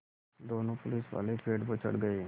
दोनों पुलिसवाले पेड़ पर चढ़ गए